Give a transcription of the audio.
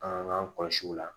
An k'an kɔlɔsi o la